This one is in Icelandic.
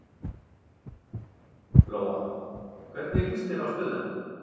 Lóa: Hvernig líst þér á stöðuna?